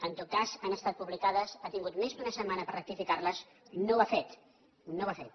en tot cas han estat publicades ha tingut més d’una setmana per rectificar les no ho ha fet no ho ha fet